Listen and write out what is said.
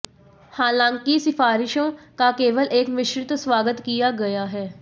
हालांकि सिफारिशों का केवल एक मिश्रित स्वागत किया गया है